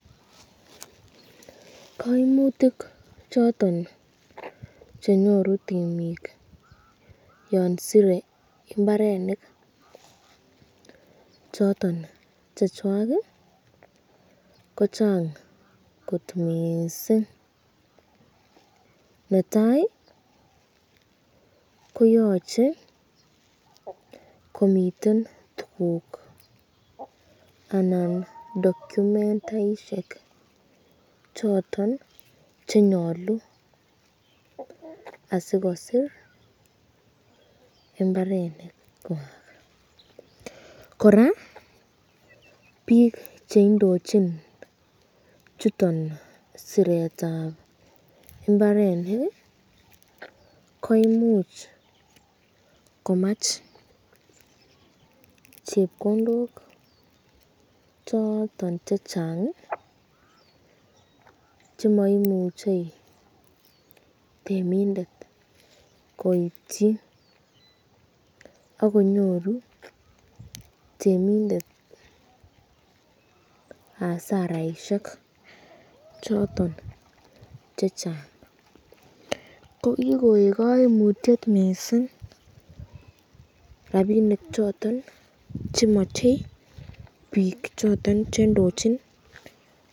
Koimutik choton chenyoru temik yon sire mbarenik choton chechwak kochang kot miissing. Netai koyoche komiten tuguk anan documentaisiek choton chenyolu asikosir mbarenikwak kora biik cheindochin chuton siretab mbarenik koimuch komach chepkondok choton chechang chemoimuche temindet koityi, akonyoryu temindet hasaraisiek choton chechang ko kikoik koimutie miissing rapinik choton chemo biik choton cheindochin.